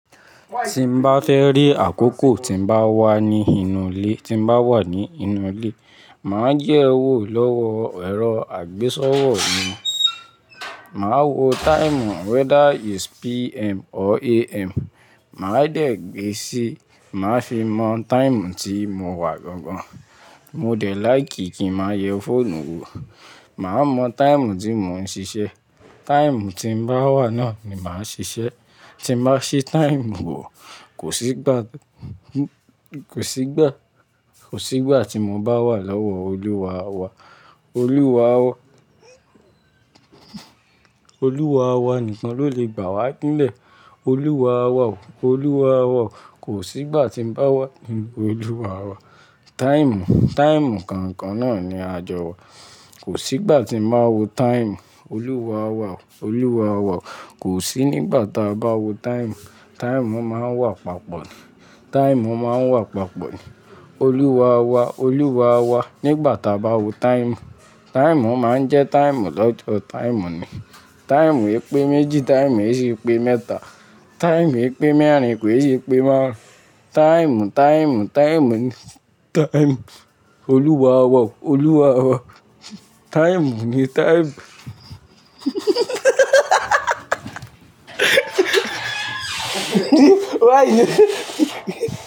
Tí n bá fẹ́ rí àkókò tí n bá wà ní inú ilé, tí n bá wà ní inú ilé, màá jẹ́ wò lọ́wọ ẹ̀rọ àgbésọ́wọ̀ mi. Màá wo táìmù whether is PM or AM. Màá dẹ̀ gbé síí, màá fi mọ táìmù tí mo wà gan gan. Mo dẹ̀ like kí n máa yẹ fóònù wo. Màá mọ táìmù tí mò ń ṣiṣẹ́. Táìmù tí n bá wà náà ni màá ṣiṣẹ́. Tí n bá ṣe táìmù wò, kò sí gbá kò sí gbà kò sí gbà tí mo bá wà lọ́wọ́ Olúwa wa. Olúwa wa Olúwa wa nìkan ló lè gbà wá nílẹ̀. Olúwa wa o. Olúwa wa o. Kò sí gbà tí n bá wà nínú Olúwa wa. Táìmù, táìmù kànkan náà ni a jọ wà. Kò sí gbà tí n máa wo táìmù. Olúwa wa o. Olúwa wa o. Kò sí nígbà ta bá wo táìmù. Táìmù máa wà papọ̀ Táìmù máa wà papọ̀ ni. Olúwa wa. Olúwa wa. Nígbà ta bá wo táìmù, táìmù máa ń jẹ́ táìmù lọ́jọ́. Táìmù ni. Táìmù epe méjì, táìmù èsì pé mẹ́ta. Táìmù epe mẹ́rin pè é si pé márùn-ún. Táìmù, táìmù, táìmù ni. Táìmù. Olúwa wa o. Olúwa wa o. Táìmù ni táìmù Why?